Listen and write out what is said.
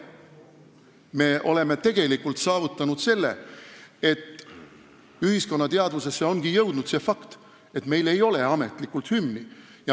Me oleme tegelikult saavutanud selle, et ühiskonna teadvusesse ongi jõudnud see fakt, et meil ametlikult hümni ei ole.